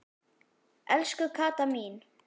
Elsku Kata mín.